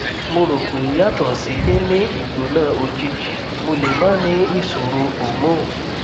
mo ro pe yato si ni ni igbona ojiji mo le ma ni isoro hormone